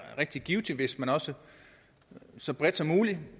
rigtig givtigt hvis man også så bredt som muligt